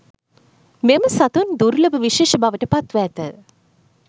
මෙම සතුන් දුර්ලභ විශේෂ බවට පත්ව ඇත